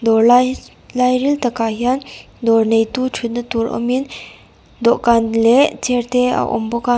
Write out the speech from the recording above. dawr lai hi lai ril takah hian dawr neitu thut na tur awmin dawhkan leh chair te a awm bawk a.